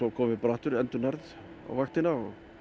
komum við aftu r endurnærð á vaktina